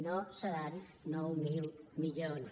no seran nou mil milions